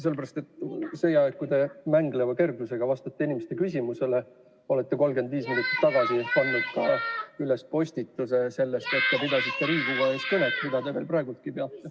Sellepärast et sel ajal, kui te mängleva kergusega olete vastanud inimeste küsimustele, olete te 35 minutit tagasi üles pannud ka postituse sellest, et te pidasite Riigikogu ees kõnet, mida te veel praegugi peate.